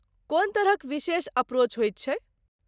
कोन तरहक विशेष अप्रोच होइत छै?